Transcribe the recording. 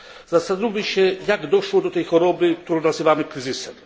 Zastanówmy się, jak doszło do tej choroby, którą nazywamy kryzysem.